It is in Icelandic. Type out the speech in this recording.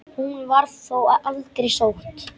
Hún var þó aldrei sótt.